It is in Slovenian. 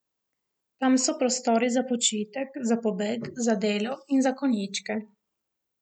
Tam so prostori za počitek, za pobeg, za delo in za konjičke.